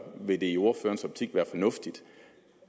ville det i ordførerens optik være fornuftigt